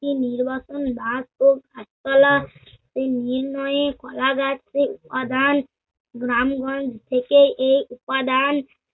একটি নির্বাচন বাধ ও পাঁচতলাটি নির্ণয়ে কলাগাছের উপাদান, গ্রাম-গঞ্জ থেকে এই উপাদান